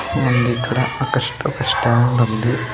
ఉంది ఇక్కడ ఒక స్ట-- ఒక స్టవ్ కూడా ఉంది.